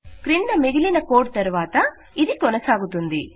క్రింద మిగిలిన కోడ్ తరువాత ఇది కొనసాగుతుంది